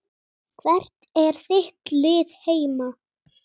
Hvert er þitt lið heima?